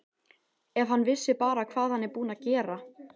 Ef hann vissi bara hvað hann er búinn að gera.